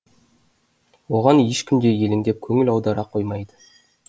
оған ешкім де елеңдеп көңіл аудара қоймайды